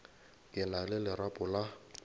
ke na le lerapo la